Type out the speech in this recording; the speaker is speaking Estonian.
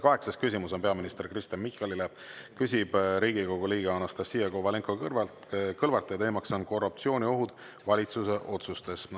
Kaheksas küsimus on peaminister Kristen Michalile, küsib Riigikogu liige Anastassia Kovalenko-Kõlvart ja teema on korruptsiooniohud valitsuse otsustes.